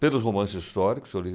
pelos romances históricos. Eu li